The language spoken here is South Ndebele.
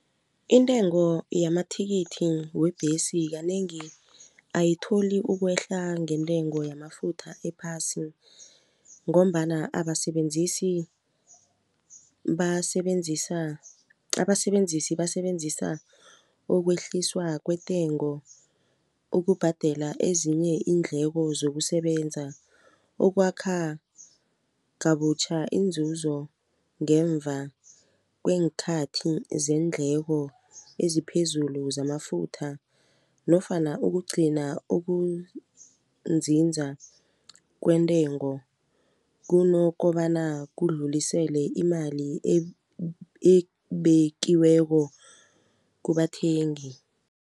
Intengo yamathikithi webhesi kanengi ayitholi ukwehla ngentengo yamafutha ephasi ngombana abasebenzisi basebenzisa abasebenzisi basebenzisa ukwehliswa kwentengo ukubhadela ezinye iindleko zokusebenza. Ukwakha kabutjha inzuzo ngemva kweenkhathi zeendleko eziphezulu zamafutha nofana ukugcina ukunzinza kwentengo kunokobana kudlulisele imali ebekiweko kubathengi.